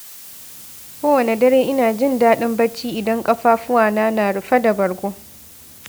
Kowane dare, ina jin daɗin bacci idan ƙafafuwa na na rufe da bargo.